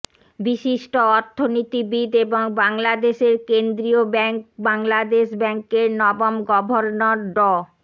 বিশিষ্ট অর্থনীতিবিদ এবং বাংলাদেশের কেন্দ্রীয় ব্যাংক বাংলাদেশ ব্যাংকের নবম গভর্ণর ড